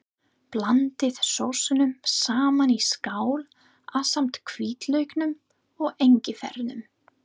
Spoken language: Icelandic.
Blandið sósunum saman í skál ásamt hvítlauknum og engifernum.